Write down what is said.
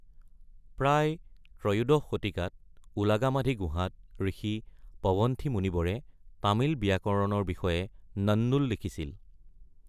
প্ৰায় ত্ৰয়োদশ শতিকাত উলাগামাধি গুহাত ঋষি পৱনন্থি মুনিৱৰে তামিল ব্যাকৰণৰ বিষয়ে নন্নুল লিখিছিল।